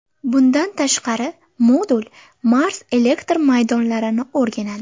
Bundan tashqari, modul Mars elektr maydonlarini o‘rganadi.